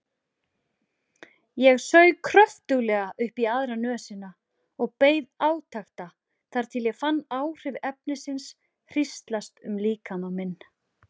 Ég saug kröftuglega upp í aðra nösina og beið átekta þar til ég fann áhrif efnisins hríslast um líkama minn.